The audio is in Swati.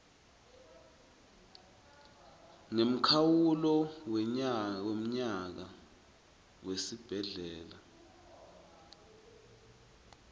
ngemkhawulo wemnyaka wesibhedlela